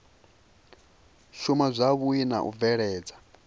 shuma zwavhui na u bveledza